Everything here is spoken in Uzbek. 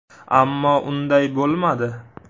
Ammo unday bo‘lmadi.